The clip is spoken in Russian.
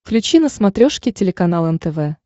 включи на смотрешке телеканал нтв